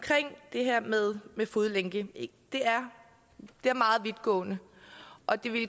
det her med fodlænke at det er meget vidtgående og det